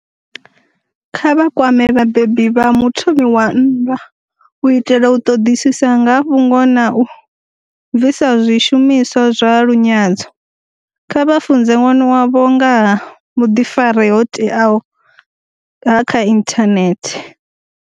Kha vha kwame vhabebi vha muthomi wa nndwa u itela u ḓoḓisisa nga ha fhungo na u bvisazwishumiswa zwa lunyadzo. Kha vha funze ṅwana wavho nga ha vhuḓifari ho teaho ha kha inthanethe.